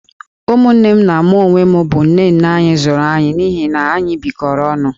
Ụmụnne m na mụ onwe m bụ nne nne anyị zụrụ anyị, n'ihi na anyị bịkọrọ onụ